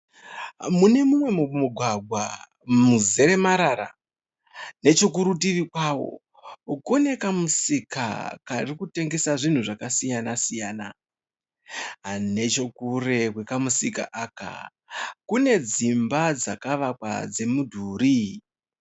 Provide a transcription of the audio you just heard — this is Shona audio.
Munemumwe mumugwagwa muzere marara, nechekurutivi kwawo kune kamusika karikutengesa zvinhu zvaka siyana siyana . Nechekure kwekamusika aka kune dzimba dzakavakwa dze mudhuri.